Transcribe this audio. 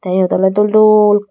tey eyot oley dol dol.